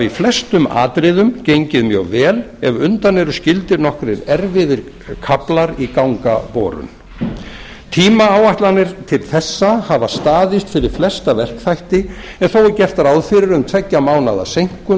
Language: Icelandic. flestum atriðum gengið mjög vel ef undan eru skildir nokkrir erfiðir kaflar í gangaborun tímaáætlanir til þessa hafa staðist fyrir flesta verkþætti en þó er gert ráð fyrir um tveggja mánaða seinkun